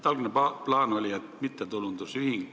Algne plaan oli luua mittetulundusühing.